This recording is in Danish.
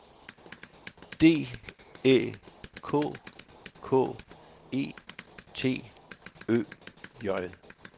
D Æ K K E T Ø J